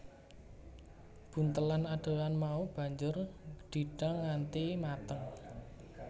Buntelan adonan mau banjur didang nganti mateng